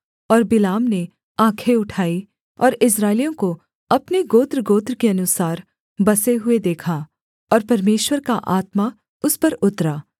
और बिलाम ने आँखें उठाई और इस्राएलियों को अपने गोत्रगोत्र के अनुसार बसे हुए देखा और परमेश्वर का आत्मा उस पर उतरा